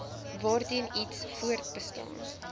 waarteen iets voortbestaan